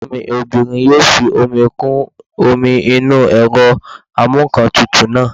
Ẹ̀gbọ́n mi obìnrin yóò fi omi kún omi inú ẹ̀rọ amúǹkantutù náà